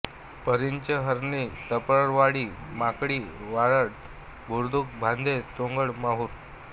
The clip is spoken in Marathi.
परिंचे हरणी लपतळवाडी मांडकी वाठार बुद्रुक भादे तोंडल माहूर